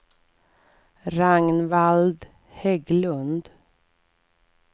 Ragnvald Hägglund